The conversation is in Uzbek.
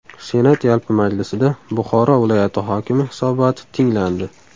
Senat yalpi majlisida Buxoro viloyati hokimi hisoboti tinglandi.